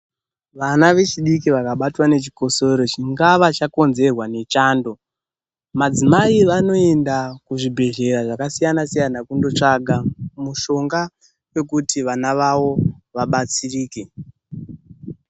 Vana vechidiki vakabatwa nechikosoro chingava chakonzerwa nechando, madzimai vanoenda kuzvibhedhlera zvakasiyana siyana kundotsvaka mishonga yekuti vana vavo vabatsirike.